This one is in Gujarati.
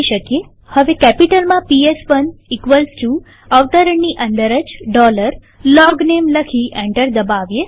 હવે પીએસ1 કેપિટલમાં અવતરણની અંદર જ LOGNAME લખી એન્ટર દબાવીએ